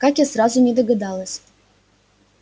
как я сразу не догадалась